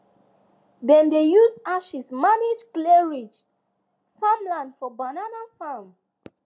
dem dey use ashes manage clayrich farmland for banana farm